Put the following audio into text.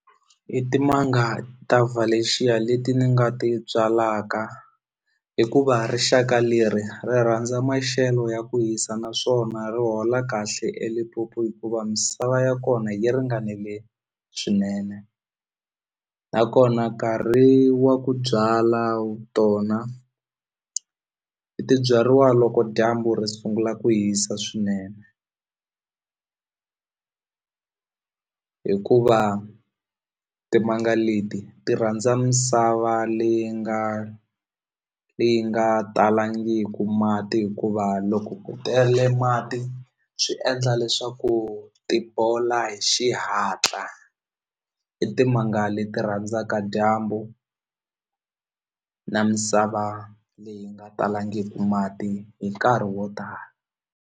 I timanga ta valencia leti ni nga ti byalaka hikuva rixaka leri ri rhandza maxelo ya ku yisa naswona ri hola kahle eLimpopo hikuva misava ya kona yi ringanile swinene nakona nkarhi wa ku byala tona ti byariwa loko dyambu ri sungula ku hisa swinene hikuva timanga leti ti rhandza misava leyi nga leyi nga talangiku mati hikuva loko ku tele mati swi endla leswaku ti bola hi xihatla i timanga leti rhandzaka dyambu na misava leyi nga talangiki mati hi nkarhi wo tala.